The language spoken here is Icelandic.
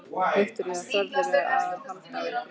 Viktoría: Þorðirðu að halda á einhverjum?